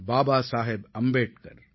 Baba Saheb Ambedkar